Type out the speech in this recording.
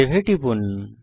save এ টিপুন